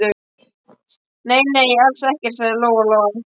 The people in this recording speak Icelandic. Nei, nei, alls ekkert, sagði Lóa Lóa.